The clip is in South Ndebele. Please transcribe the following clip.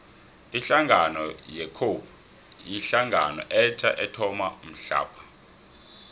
ihlangano ye cope yihlangano etja ethoma mhlapha